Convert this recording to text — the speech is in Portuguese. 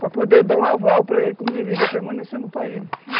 Para poder dar um aval para ele, como ele deveria permanecer no país, enfim.